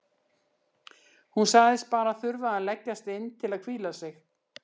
Hún sagðist bara þurfa að leggjast inn til að hvíla sig.